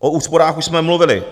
O úsporách už jsme mluvili.